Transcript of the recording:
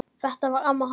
Þetta var amma hans